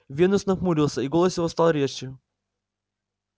венус нахмурился и голос его стал резче